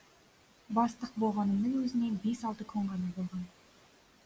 бастық болғанымның өзіне бес алты күн ғана болған